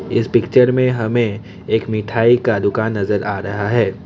इस पिक्चर में हमें एक मिठाई का दुकान नजर आ रहा है।